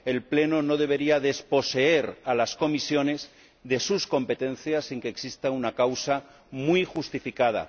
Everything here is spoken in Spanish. El Pleno no debería desposeer a las comisiones de sus competencias sin que exista una causa muy justificada.